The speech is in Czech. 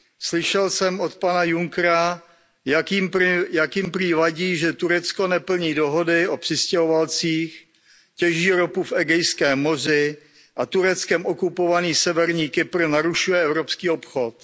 Slyšel jsem od pana Junckera, jak jim prý vadí, že Turecko neplní dohody o přistěhovalcích, těží ropu v Egejském moři a Tureckem okupovaný Severní Kypr narušuje evropský obchod.